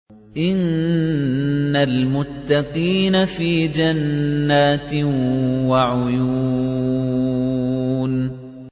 إِنَّ الْمُتَّقِينَ فِي جَنَّاتٍ وَعُيُونٍ